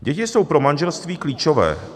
Děti jsou pro manželství klíčové.